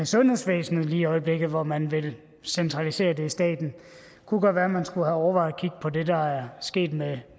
sundhedsvæsenet lige i øjeblikket hvor man vil centralisere det i staten det kunne godt være at man skulle have overvejet at kigge på det der er sket med